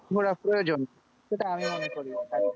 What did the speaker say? ঘোরা প্রয়োজন সেটা আমি মনে করি,